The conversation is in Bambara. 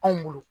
Anw bolo